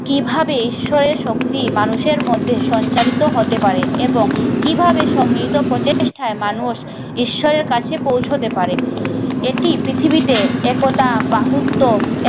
কিভাবে ঈশ্বরের শক্তি মানুষের মধ্যে সঞ্চারিত হতে পারে এবং কিভাবে সম্মিলিত প্রচেষ্টায় মানুষ ঈশ্বরের কাছে পৌঁছতে পারে, এটি পৃথিবীতে একতা বাহুত্ব